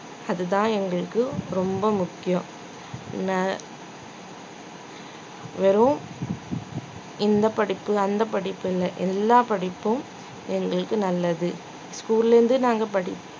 அதுதான் எங்களுக்கு ரொம்ப முக்கியம் நா வெறும் இந்த படிப்பு அந்த படிப்புனு எல்லா படிப்பும் எங்களுக்கு நல்லது school ல இருந்து நாங்க படி~